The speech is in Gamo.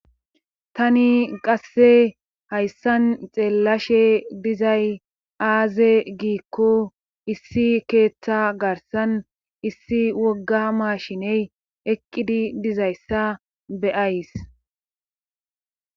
tani qasse hayssan xeellashe dizay aaze giikko issi keeththa garsan issi wogga mashiney eqqidi dizayssa beyays